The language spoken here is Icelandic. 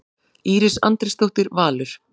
Íris Andrésdóttir, Valur.